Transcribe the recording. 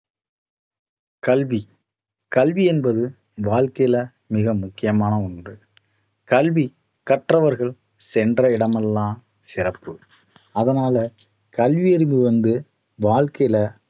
கல்வி கல்வி என்பது வாழ்க்கையில மிக முக்கியமான ஒண்று கல்வி கற்றவர்கள் சென்ற இடமெல்லாம் சிறப்பு அதனால கல்வி அறிவு வந்து வாழ்க்கையில